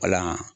Wala